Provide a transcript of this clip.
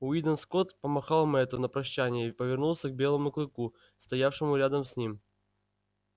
уидон скотт помахал мэтту на прощанье и повернулся к белому клыку стоявшему рядом с ним